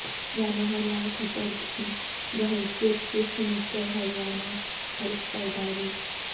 منوہر لال کھٹر کی بحیثیت chief minister Haryana حلف برداری